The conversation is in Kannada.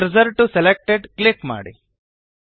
ಕರ್ಸರ್ ಟಿಒ ಸೆಲೆಕ್ಟೆಡ್ ಕ್ಲಿಕ್ ಮಾಡಿ